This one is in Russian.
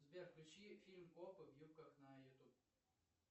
сбер включи фильм копы в юбках на ютуб